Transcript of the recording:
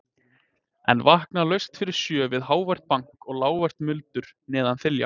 En vakna laust fyrir sjö við hávært bank og lágvært muldur neðan þilja.